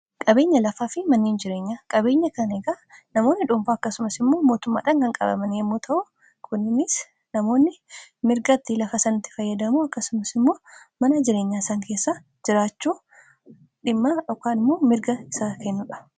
qabeenya lafaa fi maniin jireenyaa qabeenya kan heegaa namoonni dhuunfaa akkasumas immoo mootummaadhankan qabaman yommuu ta'u kunnnis namoonni mirgatti lafa sanitti fayyadamuu akkasumas immoo mana jireenyaa isaan keessa jiraachuu dhimmaa dhokkamu mirga isaa kennuudha